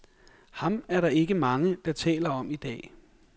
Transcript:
Ham er der ikke mange, der taler om i dag.